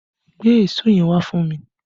Gbé èso yẹn wá fún mi!